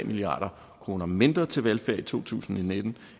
milliard kroner mindre til velfærd i to tusind og nitten